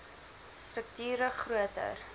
strukt ure groter